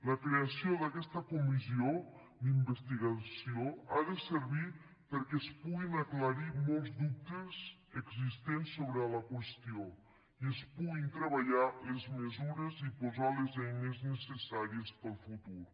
la creació d’aquesta comissió d’investigació ha de servir perquè es puguin aclarir molts dubtes existents sobre la qüestió i es puguin treballar les mesures i posar les eines necessàries per al futur